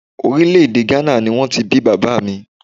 Orílè èdè Gánà ni wọ́n ti bí bàbá mi